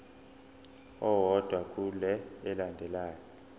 owodwa kule elandelayo